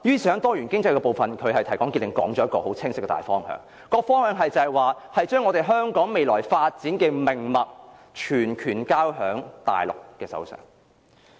在"多元經濟"部分，"林鄭"提綱挈領地提出一個很清晰的大方向，便是把香港未來發展的命脈全權交在大陸手上。